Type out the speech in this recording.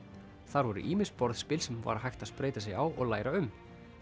þar voru ýmis borðspil sem var hægt að spreyta sig á og læra um